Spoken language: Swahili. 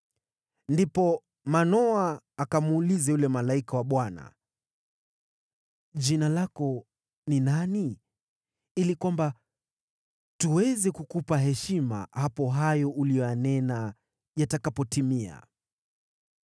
Ndipo Manoa akamuuliza yule malaika wa Bwana , “Jina lako ni nani, ili kwamba tuweze kukupa heshima hapo hayo uliyonena yatakapotimia?”